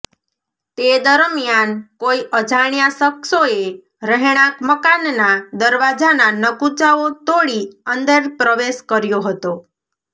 તે દરમ્યાન કોઈ અજાણ્યા શખ્સોએ રહેણાંક મકાનના દરવાજાના નકુચાઓ તોડી અંદર પ્રવેશ કર્યો હતો